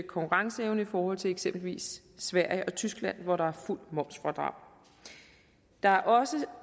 konkurrenceevne i forhold til eksempelvis sverige og tyskland hvor der er fuldt momsfradrag der er også